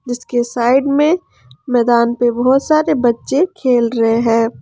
इसके साइड में मैदान पे बहोत सारे बच्चे खेल रहे हैं।